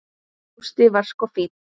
Gústi var sko fínn.